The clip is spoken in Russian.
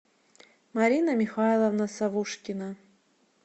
марина михайловна савушкина